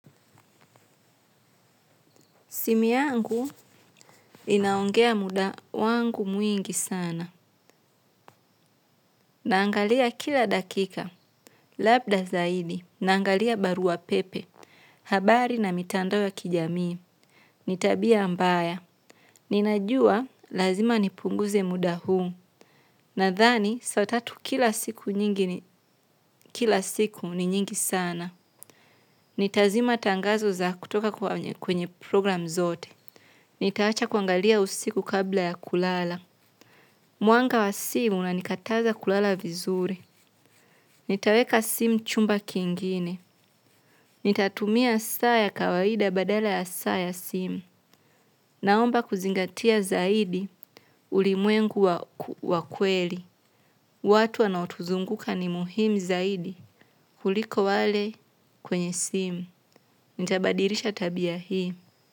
Simu yangu inaongea muda wangu mwingi sana. Naangalia kila dakika. Labda zaidi. Naangalia barua pepe. Habari na mitando ya kijami. Nitabia ambaya. Ninajua lazima nipunguze muda huu. Nadhani, saa tatu kila siku nyingi ni kila siku ni nyingi sana. Nitazima tangazo za kutoka kwenye program zote. Nitaacha kuangalia usiku kabla ya kulala. Mwanga wa simu na nikataza kulala vizuri. Nitaweka simu chumba kingine. Nitatumia saa ya kawaida badala ya saa ya simu. Naomba kuzingatia zaidi ulimwengu wa kweli. Watu anautuzunguka ni muhimu zaidi kuliko wale kwenye simu. Nitabadirisha tabia hii.